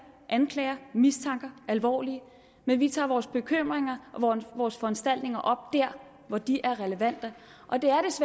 anklager mistanker alvorligt men vi tager vores bekymringer og vores foranstaltninger op dér hvor de er relevante og det